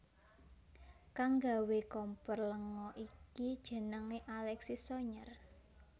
Kang nggawé kompor lenga iki jenengé Alexis Soyer